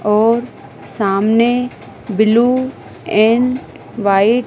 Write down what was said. और सामने blue and white --